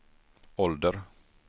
ålder